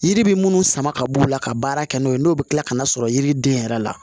Yiri bi munnu sama ka b'u la ka baara kɛ n'o ye n'o be kila ka na sɔrɔ yiriden yɛrɛ la